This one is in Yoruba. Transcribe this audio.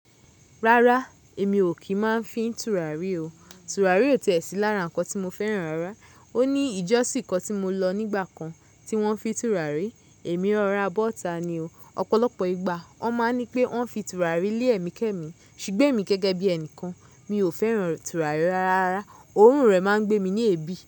Rárá, èmi ò kí ń máa fí tùràrí o. Tùràrí ò tẹ̀ sí lára nǹkan tí mo fẹ́ràn rárá. Ó ní ìjọ́ṣìn kan tí mo lọ nígbà kan, tí wọ́n fi tùràrí, èmi rọ̀ra bọ́ta ni o. Ọ̀pọ̀lọpọ̀ ìgbà wọ́n má a ní pé wọ́n fi tùràrí lé ẹ̀mí kẹ́mí, ṣùgbọ́n èmi gẹ́gẹ́ bí ẹnìkan, mi ò fẹ́ràn tùràrí rárá. Òórùn rẹ̀ má a ń gbé mi ní èébì.